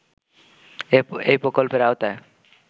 এই প্রকল্পের আওতায়